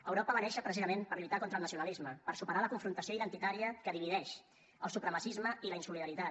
europa va néixer precisament per lluitar contra el nacionalisme per superar la confrontació identitària que divideix el supremacisme i la insolidaritat